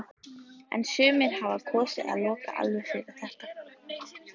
En sumir hafa kosið að loka alveg fyrir þetta.